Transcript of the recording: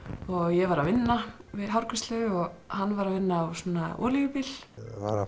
ég var að vinna við hárgreiðslu og hann var að vinna á svona olíubíl var að